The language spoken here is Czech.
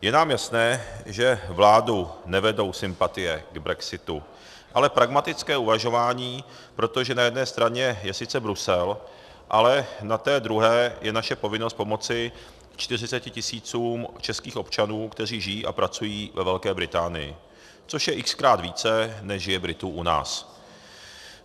Je nám jasné, že vládu nevedou sympatie k brexitu, ale pragmatické uvažování, protože na jedné straně je sice Brusel, ale na té druhé je naše povinnost pomoci 40 tisícům českých občanů, kteří žijí a pracují ve Velké Británii, což je x-krát více, než je Britů u nás.